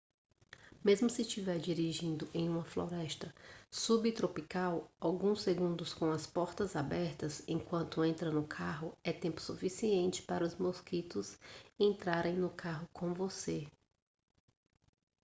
mesmo se estiver dirigindo em uma floresta subtropical alguns segundos com as portas abertas enquanto entra no carro é tempo suficiente para os mosquitos entrarem no carro com você